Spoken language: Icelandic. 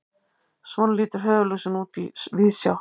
svona lítur höfuðlúsin út í víðsjá